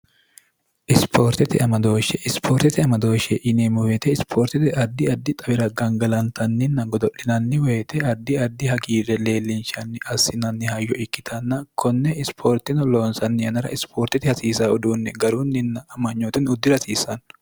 isipoortete amadooshshe ispoortete amadooshshe ineemmoweete ispoortete addi addi xawira gangalantanninna godo'linanni woyite addi addi hagiirre leellinchanni assinanni hayo ikkitanna konne ispoortino loonsanni yanara isipoortete hasiisa uduunni garunninna amanyootonni uddirasiisanno